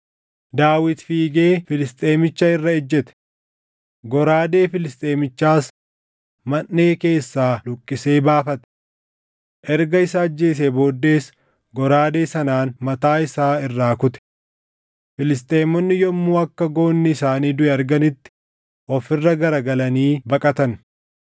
Daawit fiigee Filisxeemicha irra ejjete. Goraadee Filisxeemichaas manʼee keessaa luqqisee baafate. Erga isa ajjeesee booddees goraadee sanaan mataa isaa irraa kute. Filisxeemonni yommuu akka goonni isaanii duʼe arganitti of irra garagalanii baqatan.